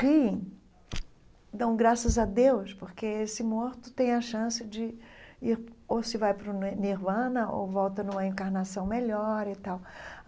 riem, dão graças a Deus, porque esse morto tem a chance de ir, ou se vai para o Nirvana, ou volta numa encarnação melhor e tal.